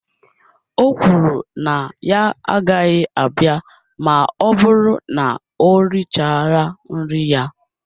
O kwuru na ya agaghị abịa ma ọ bụrụ na o richara nri ya